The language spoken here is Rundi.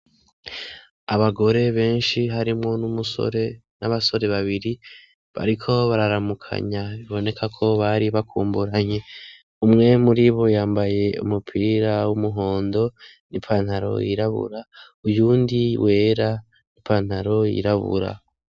Abagore benshi harimwo n'umusore n'abasore babiri bariko bararamukanya biboneka ko bari bakumburanye umwemu uri bo yambaye umupira w'umuhondo n'ipantaro yirabura uyundi wera ipantaro yirabura.